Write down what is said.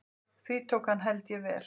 Því tók hann held ég vel.